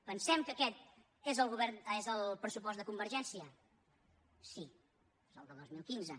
pensem que aquest és el pressupost de convergència sí és el del dos mil quinze